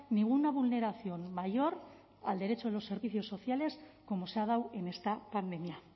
ninguna vulneración mayor al derecho de los servicios sociales como se ha dado en esta pandemia